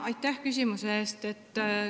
Aitäh küsimuse eest!